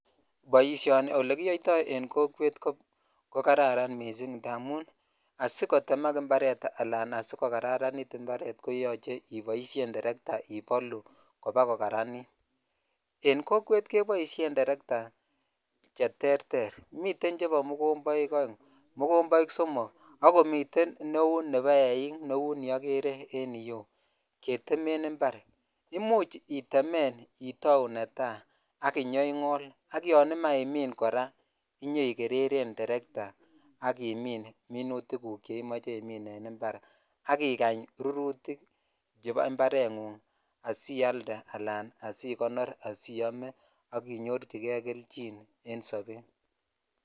Boisioni oleiyoitoi en kokwet